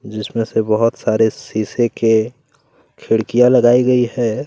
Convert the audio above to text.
जिसमें से बहुत सारे शीशे के खिड़कियां लगाई गई है।